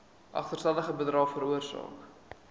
agterstallige bydraes veroorsaak